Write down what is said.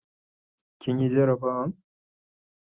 kin Yi garabawan?